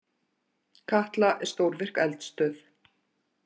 Katla er stórvirk eldstöð.